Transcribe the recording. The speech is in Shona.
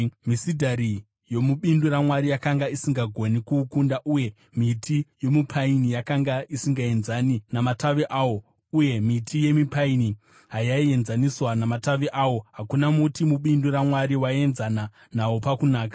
Misidhari yomubindu raMwari yakanga isingagoni kuukunda, uye miti yomupaini yakanga isingaenzani namatavi awo, uye miti yemipurani hayaienzaniswa namatavi awo, hakuna muti mubindu raMwari waienzana nawo pakunaka.